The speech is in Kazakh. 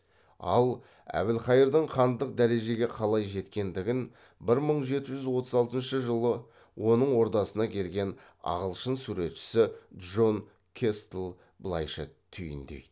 ал әбілқайырдың хандық дәрежеге қалай жеткендігін бір мың жеті жүз отыз алтыншы жылы оның ордасына келген ағылшын суретшісі джон кэстль былайша түйіндейді